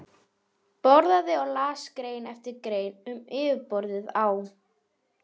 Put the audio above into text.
Borðaði og las grein eftir grein um yfirborðið á